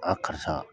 karisa